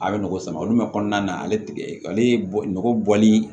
A bɛ nɔgɔ sama olu bɛ kɔnɔna na ale tigɛ ale ye nɔgɔ bɔli